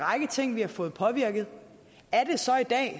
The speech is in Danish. række ting vi har fået påvirket er det så i dag